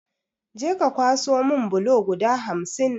Je ka ka kwaso mun bulo guda hamsin!